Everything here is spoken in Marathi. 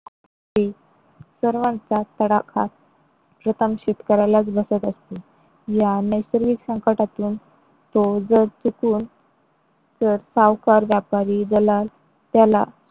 सर्वांचाच तडाखा शेतकऱ्यालाच बसत असतो या नैसर्गिक संकटातून तो जर चुकून तर सावकार व्यापारी दलाल त्याला